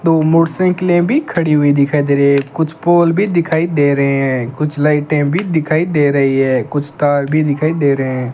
दो मोटरसाइकिलें भी खड़ी हुई दिखाई दे रही है कुछ पोल भी दिखाई दे रहे हैं कुछ लाइटें भी दिखाई दे रही हैं कुछ तार भी दिखाई दे रहे हैं।